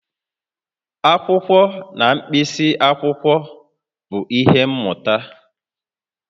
Akwụkwọ na mkpịsị akwụkwọ bụ ihe mmụta